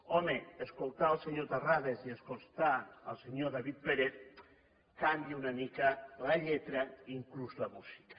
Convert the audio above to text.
home escoltar el senyor terrades i escoltar el senyor david pérez canvia una mica la lletra inclús la música